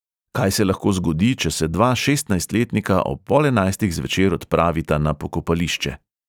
Kaj se lahko zgodi, če se dva šestnajstletnika ob pol enajstih zvečer odpravita na pokopališče?